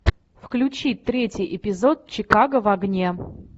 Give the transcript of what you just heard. включи третий эпизод чикаго в огне